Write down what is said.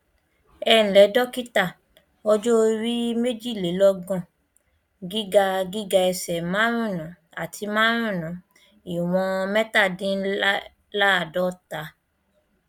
ẹǹlẹ dọkítà ọjọ orí méjìlélọgbọn gíga gíga ẹsẹ márùnún àti márùnún ìwọn mẹtàdínláàádọta